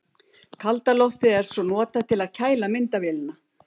Kalda loftið er svo notað til að kæla myndavélina.